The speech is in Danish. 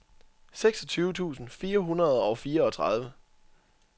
seksogtyve tusind fire hundrede og fireogtredive